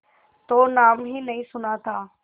तो नाम ही नहीं सुना था